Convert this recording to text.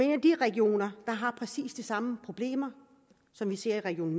en af de regioner har præcis de samme problemer som vi ser i region